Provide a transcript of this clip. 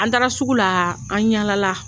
An daara sugu la an ɲala la